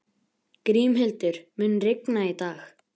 Grímhildur, mun rigna í dag?